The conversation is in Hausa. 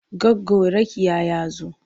Goggo Rakiya ya zo.